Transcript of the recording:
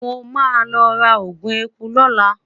mo ma lo ra ogun ẹkú lola